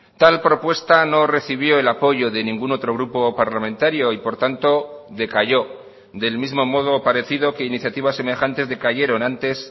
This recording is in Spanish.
tal propuesta no recibió el apoyo de ningún otro grupo parlamentario y por tanto decayó del mismo modo parecido que iniciativas semejantes decayeron antes